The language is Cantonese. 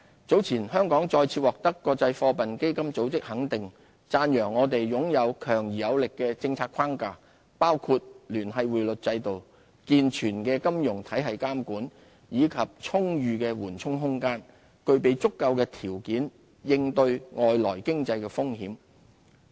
早前香港再次獲得國際貨幣基金組織肯定，讚揚我們擁有強而有力的政策框架，包括聯繫匯率制度、健全的金融體系監管，以及充裕的緩衝空間，具備足夠條件應對外來經濟風險。